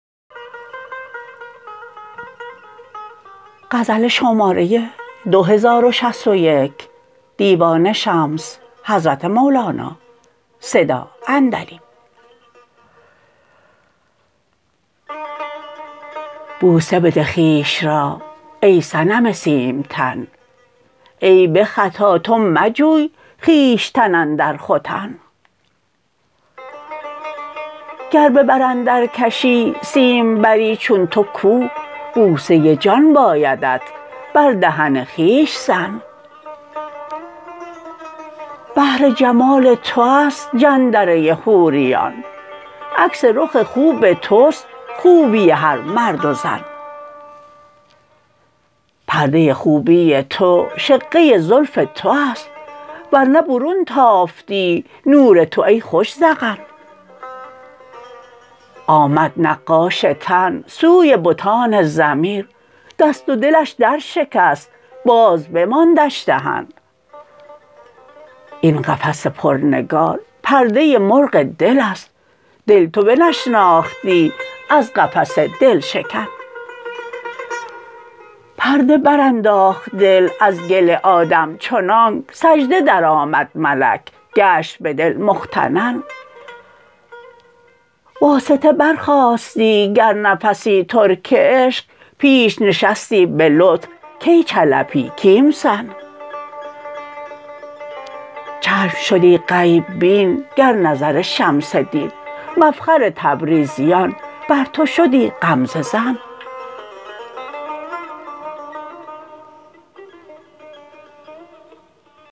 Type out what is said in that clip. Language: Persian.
بوسه بده خویش را ای صنم سیمتن ای به خطا تو مجوی خویشتن اندر ختن گر به بر اندرکشی سیمبری چون تو کو بوسه جان بایدت بر دهن خویش زن بهر جمال تو است جندره حوریان عکس رخ خوب توست خوبی هر مرد و زن پرده خوبی تو شقه زلف تو است ور نه برون تافتی نور تو ای خوش ذقن آمد نقاش تن سوی بتان ضمیر دست و دلش درشکست باز بماندش دهن این قفس پرنگار پرده مرغ دل است دل تو بنشناختی از قفس دل شکن پرده برانداخت دل از گل آدم چنانک سجده درآمد ملک گشت به دل مفتتن واسطه برخاستی گر نفسی ترک عشق پیش نشستی به لطف کای چلپی کیمسن چشم شدی غیب بین گر نظر شمس دین مفخر تبریزیان بر تو شدی غمزه زن